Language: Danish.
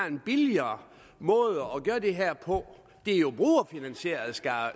en billigere måde at gøre det her på det er jo brugerfinansieret skal